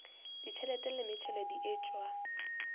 ditšhelete le metšhelo di etšwe